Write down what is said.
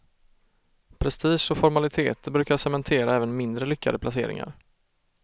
Prestige och formaliteter brukar cementera även mindre lyckade placeringar.